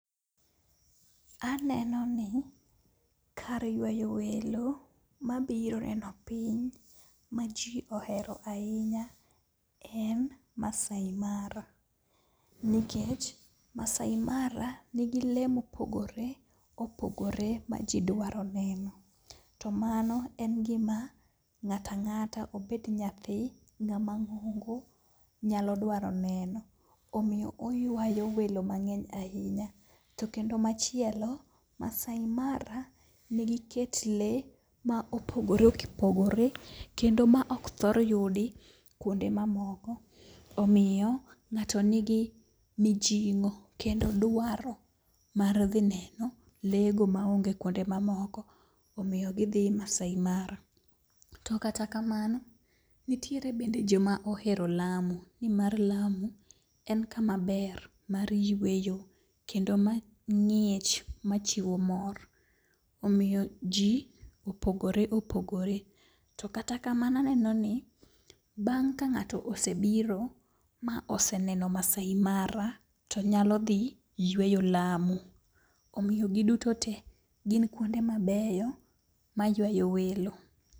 Aneno ni kar ywayo welo ma biro neno piny ma ji ohero ahinya en Maasai Mara. Nikech Maasai Mara nigi lee mopogore opogore ma ji dwaro neno, to mano en gima ng'ata ng'ata obed nyathi, ng'ama ng'ongo nyalo dwaro neno. Omiyo oywayo welon mang'eny ahinya. To kendo machielo, Maasai Mara nigi kit le ma opogore opogore, kendo ma ok thor yudi kuonde mamoko. Omiyo ng'ato nigi mijing'o kendo dwaro mar dhi neno le go maonge kuonde mamoko, omiyo gidhi Maasai Mara. To kata kamano, nitiere bende joma ohero Lamu. Ni mar Lamu be en kama ber mar yueyo kendo ma ng'ich machiwo mor. Omiyo ji opogore opogore. To kata kamano aneno ni bang' ka ng'ato osebiro moneno Maasai Mara, to nyalo dhi yweyo Lamu. Omiyo giduto te gin kuonde mabeyo maywayo welo.